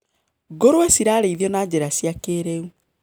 Ngũrũwe cirarĩithio na njĩra cia kĩrĩu.